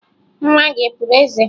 Nwa gị e puru eze?